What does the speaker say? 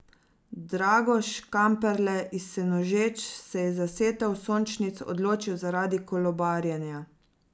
Drago Škamperle iz Senožeč se je za setev sončnic odločil zaradi kolobarjenja.